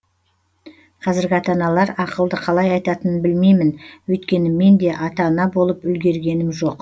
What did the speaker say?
қазіргі ата аналар ақылды қалай айтатынын білмеймін өйткені мен де ата ана болып үлгергенім жоқ